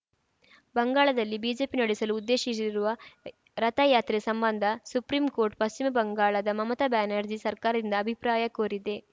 ಬಂಗಾಳದಲ್ಲಿ ಬಿಜೆಪಿ ನಡೆಸಲು ಉದ್ದೇಶಿಸಿರುವ ರಥಯಾತ್ರೆ ಸಂಬಂಧ ಸುಪ್ರೀಂಕೋರ್ಟ್‌ ಪಶ್ಚಿಮ ಬಂಗಾಳದ ಮಮತಾ ಬ್ಯಾನರ್ಜಿ ಸರ್ಕಾರದಿಂದ ಅಭಿಪ್ರಾಯ ಕೋರಿದೆ